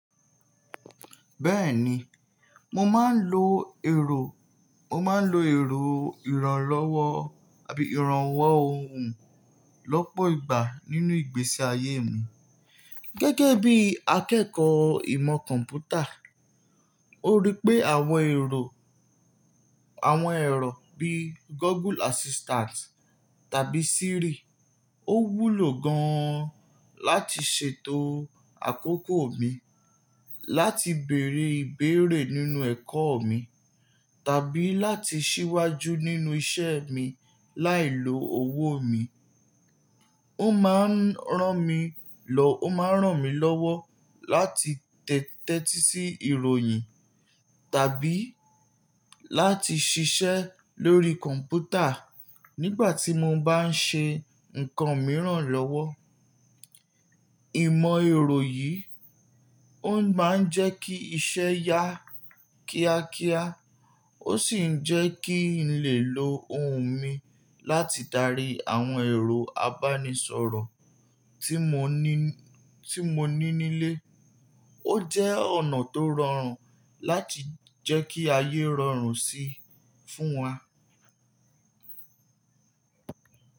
Bẹ́ẹ̀ni, mo máa ń lo ẹ̀rọ, mo máa ń lo ẹ̀rọ ìrànlọ́wọ́ àbí ìrànwọ́ ohùn lọ́pọ̀ ìgbà nínú ìgbésí ayé mi gẹ́gẹ́ bí akẹ́kọ̀ọ́ ìmọ̀ kọ̀ḿpútà. Ó rí pé àwọn ẹ̀rọ, àwọn ẹ̀rọ bíi Google Assistant tàbí Siri ó wúlò gan láti ṣètò àkókò mi, láti bèrè ìbéèrè nínú ẹ̀kọ́ mi, tàbí láti ṣíwájú nínú iṣẹ́ mi láìlo owó mi. Ó máa ń ràn mí lọ́, ó máa ń ràn mí lọ́wọ́ láti tẹ́tí sí ìròyìn tàbí láti ṣiṣẹ́ lórí kọ̀m̀pútà nígbà tí mo bá ń ṣe nǹkan mìíràn lọ́wọ́. Ìmọ̀ èrò yìí ó máa ń jẹ́ kí iṣẹ́ yá kíákíá ó sì ń jẹ́ kí n lè lo ohùn mi láti darí àwọn ẹ̀rọ abánisọ̀rọ̀ tí mo ní, tí mo ní nílé. Ó jẹ́ ọ̀nà tó rọrùn láti jẹ́ kí ayé rọrùn sí fún wa.